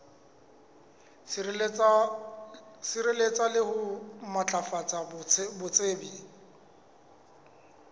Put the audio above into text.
sireletsa le ho matlafatsa botsebi